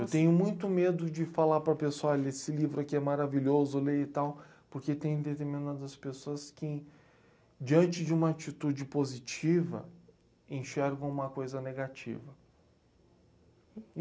Eu tenho muito medo de falar para a pessoa, olha, esse livro aqui é maravilhoso, eu leio e tal, porque tem determinadas pessoas que, diante de uma atitude positiva, enxergam uma coisa negativa.